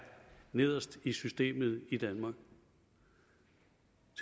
nederst i systemet i danmark